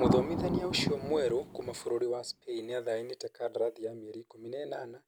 Mũthomithania ũcio mwerũ kuma bũrũri wa Spain nĩacainite kadarathi ya mĩeri ikũmi na ĩnana,